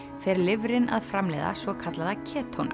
fer lifrin að framleiða svokallaða